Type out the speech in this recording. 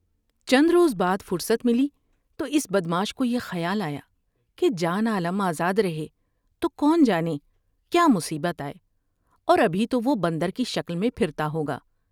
چند روز بعد فرصت ملی تو اس بدمعاش کو یہ خیال آیا کہ جان عالم آزاد ر ہے تو کون جانے کیا مصیبت آۓ اور ابھی تو وہ بندر کی شکل میں پھرتا ہو گا ۔